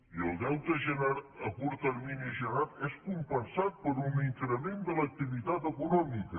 i el deute a curt termini generat és compensat per un increment de l’activitat econòmica